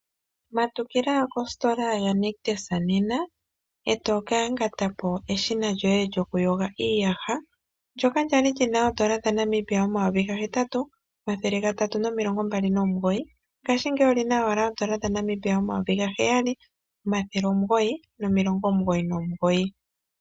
Matukila kositola yaNictus nena e toka yangata po eshina lyoye lyo kuyga iiyaha ndyoka lya li lina N$8329 ngaashingeyi olyina owala N$7999.